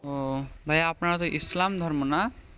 আহ ভাইয়া আপনারা তো ইসলাম ধর্ম না?